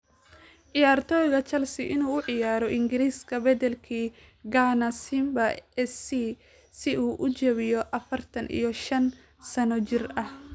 Ciyaartoyga Chelsea inuu u ciyaaro ingriska bedelkii Ghana Simba SC si uu u jabiyo afartan iyo shan sano jir ah?